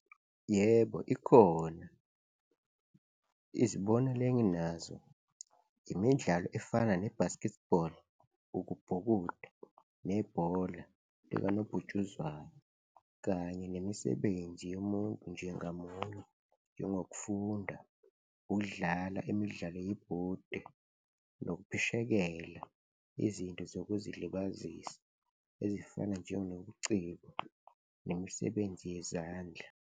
Yebo, ikhona. Izibonelo enginazo imidlalo efana ne-basketball, ukubhukuda nebhola likanobhutshuzwayo kanye nemisebenzi yomuntu nje ngamunye njengokufunda, ukudlala imidlalo yebhodi nokuphishekela izinto zokuzilibazisa ezifana njenobuciko nemisebenzi yezandla.